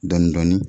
Dɔɔnin dɔɔnin